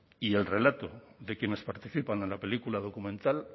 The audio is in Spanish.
y el relato de quienes participan en la película documental